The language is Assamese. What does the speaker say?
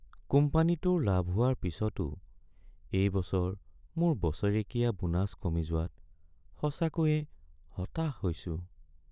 কোম্পানীটোৰ লাভ হোৱাৰ পিছতো এই বছৰ মোৰ বছৰেকীয়া বোনাছ কমি যোৱাত সঁচাকৈয়ে হতাশ হৈছোঁ।